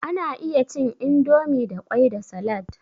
Ana iya cin indomie da kwai da salad.